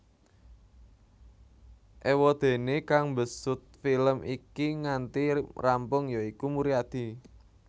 Éwadéné kang mbesut film iki nganti rampung ya iku Muryadi